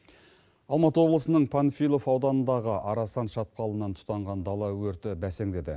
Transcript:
алматы облысының панфилов ауданындағы арасан шатқалынан тұтанған дала өрті бәсеңдеді